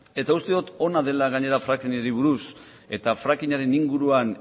eta uste dut ona dela gainera frackingari buruz eta frackingaren inguruan